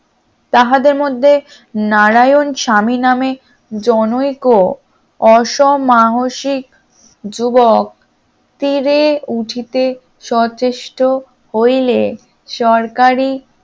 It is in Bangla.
তাহাদের মধ্যে নারায়ণ স্বামী নামে জনৈক অসম সাহসিক যুবক তীরে উঠিতে সচেষ্ট হইলে সরকারি